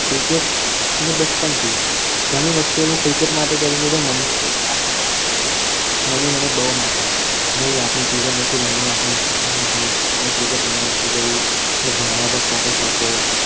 cricket મને બચપન થી ઘણી વખત હું cricket માટે ઘણી વખત મે એટલી મમ્મીની માર પણ ખાધેલી છે મમ્મી મને બોવ મારતા. નય આપડે cricket નથી રમવાનું આપણે ભણવાનું છે આમેય cricket રમવા નથી જાવું આપડે ભણવા ઉપર focus આપો.